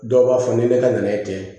Dɔw b'a fɔ ni ne ka na ye ten